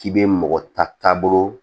K'i be mɔgɔ ta taabolo